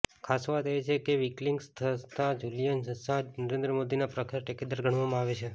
ખાસવાત એ છે કે વિકીલિક્સ સંસ્થાપક જૂલિયન અસાંજ નરેન્દ્ર મોદીના પ્રખર ટેકેદાર ગણવામાં આવે છે